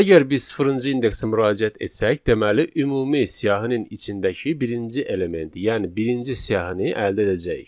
Əgər biz sıfırıncı indeksə müraciət etsək, deməli ümumi siyahının içindəki birinci elementi, yəni birinci siyahını əldə edəcəyik.